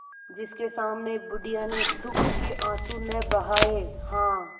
जिसके सामने बुढ़िया ने दुःख के आँसू न बहाये हां